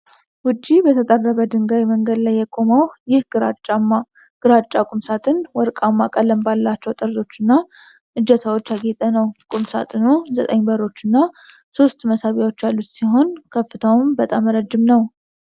ውጪ በተጠረበ ድንጋይ መንገድ ላይ የቆመው ይህ ግራጫ ቁም ሳጥን፣ ወርቃማ ቀለም ባላቸው ጠርዞች እና እጀታዎች ያጌጠ ነው። ቁም ሳጥኑ ዘጠኝ በሮች እና ሶስት መሳቢያዎች ያሉት ሲሆን፣ ከፍታውም በጣም ረጅም ነው።